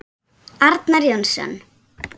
Arnar Jónsson